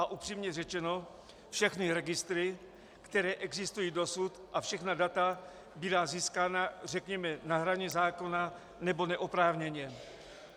A upřímně řečeno, všechny registry, které existují dosud, a všechna data byla získána, řekněme, na hraně zákona nebo neoprávněně.